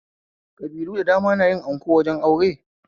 Kabilu da dama nayi anko wajen aure